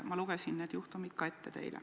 Ma lugesin need juhtumid teile ka ette.